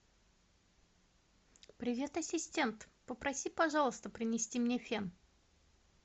привет ассистент попроси пожалуйста принести мне фен